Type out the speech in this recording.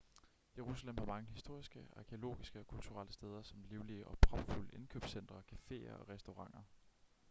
jerusalem har mange historiske arkæologiske og kulturelle steder samt livlige og propfulde indkøbscentre caféer og restauranter